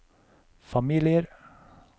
familier